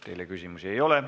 Teile küsimusi ei ole.